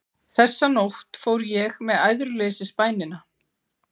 Þessa nótt fór ég með æðruleysisbænina